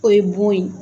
O ye bon ye